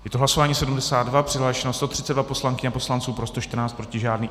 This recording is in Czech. Je to hlasování 72, přihlášeno 132 poslankyň a poslanců, pro 114, proti žádný.